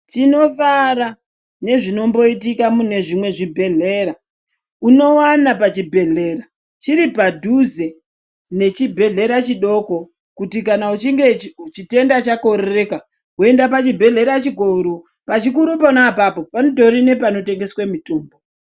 Tinosara nezvinomboita mune zvimwe zvibhendhlera. Unowana pachibhedhlera chiri padhuze nechibhendlera chidoko kuti kana uchinge chitenda chakorereka woenda pachibhendhlera chikuru. Pachikuru pona apapo panotori nepanotengesa mitombo.